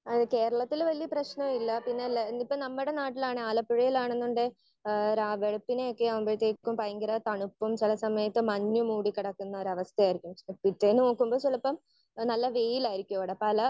Speaker 1 ഏഹ് കേരളത്തിൽ വല്യേ പ്രശ്‌നൊന്നും ഇല്ല. പിന്നെ ഇല്ലേ ഇപ്പൊ നമ്മുടെ നാട്ടിലാണ് ആലപ്പുഴയിലാണെന്നുണ്ടേൽ ഏഹ് രാ വെളുപ്പിന് ഒക്കെ ആകുമ്പഴേത്തേക്കും ഭയങ്കര തണുപ്പും ചില സമയത്ത് മഞ്ഞു മൂടി കിടക്കുന്ന ഒരു അവസ്ഥയായിരിക്കും. പിറ്റേന്ന് നോക്കുമ്പോൾ ചിലപ്പം ആഹ് നല്ല വെയിലായിരിക്കും ഇവിടെ ഏഹ് പല